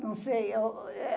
Não sei. Eh